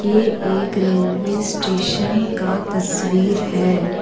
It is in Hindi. ये एक रेलवे स्टेशन का तस्वीर है।